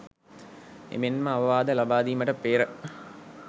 එමෙන්ම අවවාද ලබාදීමට පෙර